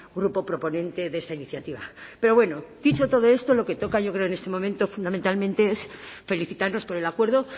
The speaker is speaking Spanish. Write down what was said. grupo proponente de esta iniciativa pero bueno dicho todo esto lo que toca yo creo en este momento fundamentalmente es felicitarnos por el acuerdo